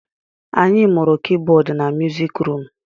Anyị mụrụ Kibọd na musik rum